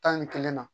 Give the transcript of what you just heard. Tan ni kelen na